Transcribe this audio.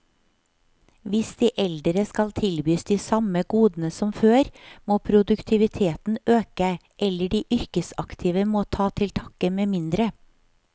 Hvis de eldre skal tilbys de samme godene som før, må produktiviteten øke, eller de yrkesaktive må ta til takke med mindre.